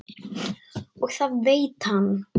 Og það veit hann.